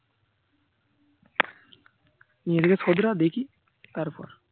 নিজেকে শোধরাও দেখি. তারপর